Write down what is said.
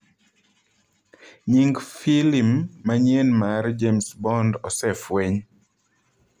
Nying' filim manyien mar James Bond osefweny